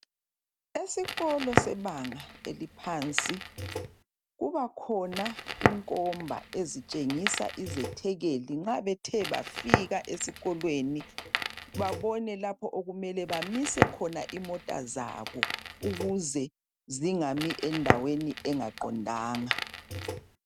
Esikolo sebanga eliphansi kuba khona inkomba ezitshengisa izethekeli nxa bethe bafika esikolweni babone lapho okumele bamise khona imota zabo ukuze zingami endaweni engaqondanga.